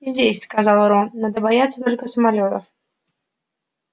здесь сказал рон надо бояться только самолётов